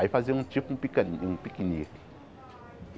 Aí fazia um tipo um picani um piquenique.